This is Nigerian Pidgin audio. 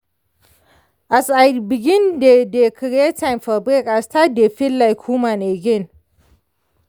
as i begin dey dey create time for break i start dey feel like human again.